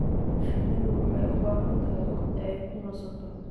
Shinnidu waxay u baahan tahay waqti ay ku nasato.